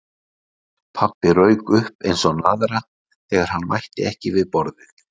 Pabbi rauk upp eins og naðra þegar hann mætti ekki við borðið.